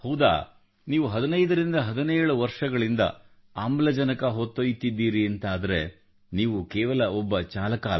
ಹೌದಾ ನೀವು 1517 ವರ್ಷಗಳಿಂದ ನಾನು ಆಮ್ಲಜನಕ ಹೊತ್ತೊಯ್ಯುತ್ತಿದ್ದೀರಿ ಎಂದಾದಲ್ಲಿ ನೀವು ಕೇವಲ ಒಬ್ಬ ಚಾಲಕನಲ್ಲ